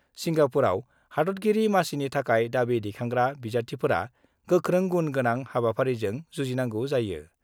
सिंगापुराव हादतगिरि मासिनि थाखाय दाबि दैखांग्रा बिजाथिफोरा गोख्रों गुण गोंनां हाबाफारिजों जुजिनांगौ जायो।